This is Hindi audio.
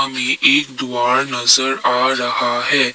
एक एक द्वार नजर आ रहा है।